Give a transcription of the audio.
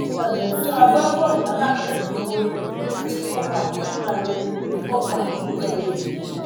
ẹbùn fún agbábọọlù alápèrẹ tó borí àti kópa nínú ayẹyẹ kópa nínú ayẹyẹ